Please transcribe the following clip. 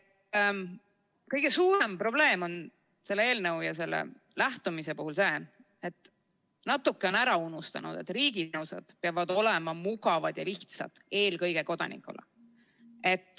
Kõige suurem probleem on selle eelnõu ja selle lähenemise puhul see, et natukene on ära unustatud, et riigi teenused peavad olema mugavad ja lihtsad eelkõige kodanikule.